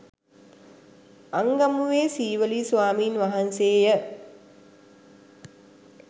අංගමුවේ සීවලී ස්වාමින් වහන්සේ ය